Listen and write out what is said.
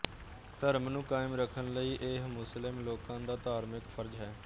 ਧਰਮ ਨੂੰ ਕਾਇਮ ਰਖਣ ਲਈ ਇਹ ਮੁਸਲਿਮ ਲੋਕਾਂ ਦਾ ਧਾਰਮਿਕ ਫ਼ਰਜ਼ ਹੈ